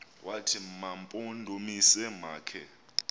wathi mampondomise makhe